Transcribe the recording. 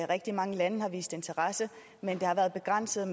rigtig mange lande har vist interesse men der har været begrænset